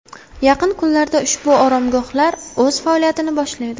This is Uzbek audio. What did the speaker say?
Yaqin kunlarda ushbu oromgohlar o‘z faoliyatini boshlaydi.